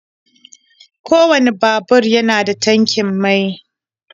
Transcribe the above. kowane babur yana da tankin mai.